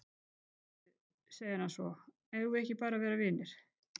Heyrðu, segir hann svo, eigum við ekki bara að vera vinir?